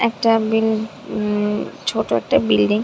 একটা বিল উম ছোট একটা বিল্ডিং --